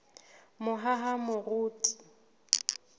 mohahamoriti